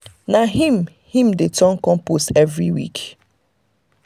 na him him dey turn compost every week.